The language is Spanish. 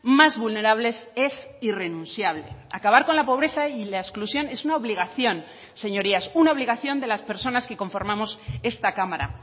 más vulnerables es irrenunciable acabar con la pobreza y la exclusión es una obligación señorías una obligación de las personas que conformamos esta cámara